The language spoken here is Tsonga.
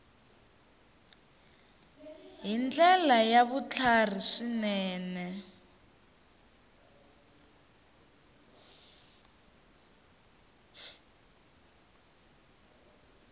hi ndlela ya vutlhari swinene